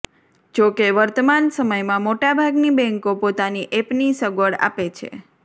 જો કે વર્તમાન સમયમાં મોટાભાગની બેન્કો પોતાની એપની સગવડ આપે છે